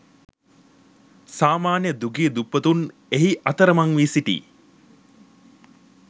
සාමාන්‍ය දුගී දුප්පතුන් එහි අතරමං වී සිටී.